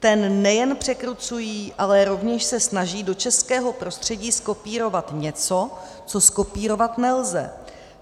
Ten nejen překrucují, ale rovněž se snaží do českého prostředí zkopírovat něco, co zkopírovat nelze.